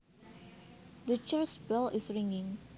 The church bell is ringing